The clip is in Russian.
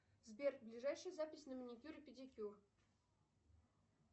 сбер ближайшая запись на маникюр и педикюр